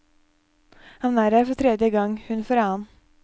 Han er her for tredje gang, hun for annen.